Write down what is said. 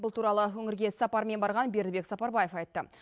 бұл туралы өңірге іссапармен барған бердібек сапарбаев айтты